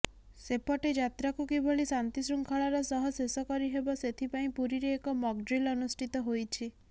ସେପଟେ ଯାତ୍ରାକୁ କିଭଳି ଶାନ୍ତି ଶୃଙ୍ଖଳାର ସହ ଶେଷ କରିହେବ ସେଥିପାଇଁ ପୁରୀରେ ଏକ ମକଡ୍ରିଲ ଅନୁଷ୍ଠିତ ହୋଇଛି